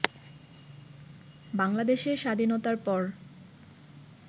বাংলাদেশের স্বাধীনতার পর